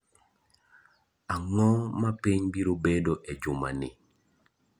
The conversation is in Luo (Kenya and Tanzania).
ang'o ma piny biro bedo e juma ni?